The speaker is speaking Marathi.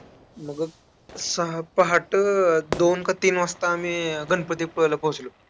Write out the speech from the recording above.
मग, सहा पहाटं दोन का तीन वाजता आम्ही गणपतीपुळ्याला पोहोचलो.